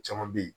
Caman be ye